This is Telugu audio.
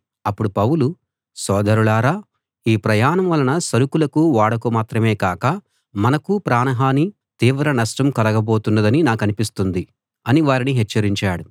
అప్పుడు పౌలు సోదరులారా ఈ ప్రయాణం వలన సరకులకు ఓడకు మాత్రమే కాక మనకూ ప్రాణహానీ తీవ్ర నష్టం కలగబోతున్నదని నాకనిపిస్తుంది అని వారిని హెచ్చరించాడు